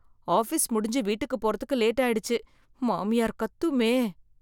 Office முடிஞ்சு வீட்டுக்கு போறதுக்கு லேட் ஆயிடுச்சு, மாமியார் கத்துமே.